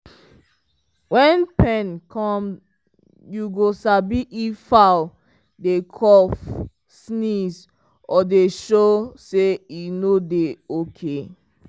wen pen cum u go sabi if fowl dey cough sneeze or dey show say e no dey okay.